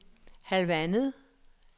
halvandet